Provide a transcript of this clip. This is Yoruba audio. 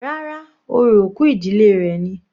Rárá, orò òkú ìdílé rẹ̀ ni.